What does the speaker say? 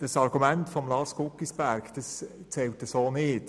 Das Argument von Lars Guggisberg zählt so nicht.